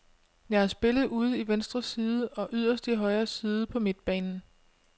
Jeg har spillet ude i venstre side og yderst i højre side på midtbanen.